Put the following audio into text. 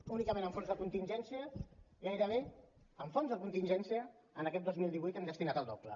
únicament en fons de contingència gairebé en fons de contingència en aquest dos mil divuit hi hem destinat el doble